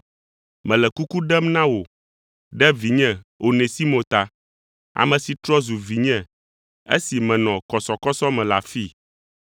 mele kuku ɖem na wò ɖe vinye Onesimo ta, ame si trɔ zu vinye esi menɔ kɔsɔkɔsɔ me le afii.